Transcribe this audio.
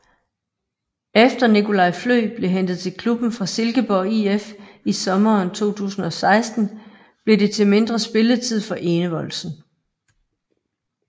Efter Nicolai Flø blev hentet til klubben fra Silkeborg IF i sommeren 2016 blev det til mindre spilletid for Enevoldsen